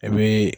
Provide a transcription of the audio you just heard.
I bɛ